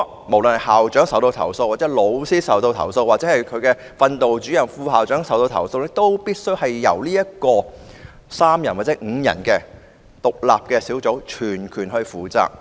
無論是校長或老師受到投訴，或是訓導主任或副校長受到投訴，都必須由3人或5人組成的獨立投訴小組全權負責。